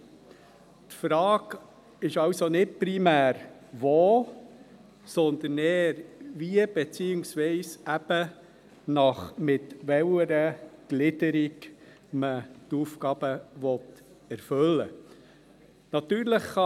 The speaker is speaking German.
Die Frage ist also nicht primär, wo, sondern eher wie – beziehungsweise eben mit welcher Gliederung – man die Aufgaben erfüllen will.